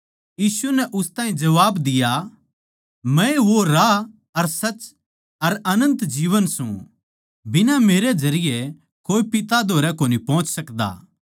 यीशु नै उस ताहीं उत्तर दिया मै ए वो राह अर सच अर अनन्त जीवन सूं बिना मेरै जरिये कोए पिता धोरै कोनी पोहच सकदा